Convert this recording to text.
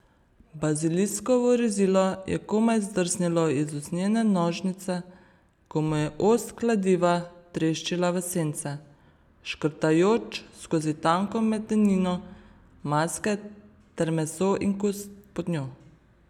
Baziliskovo rezilo je komaj zdrsnilo iz usnjene nožnice, ko mu je ost kladiva treščila v sence, škrtajoč skozi tanko medenino maske ter meso in kost pod njo.